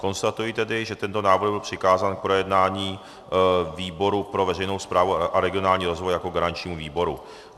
Konstatuji tedy, že tento návrh byl přikázán k projednání výboru pro veřejnou správu a regionální rozvoj jako garančnímu výboru.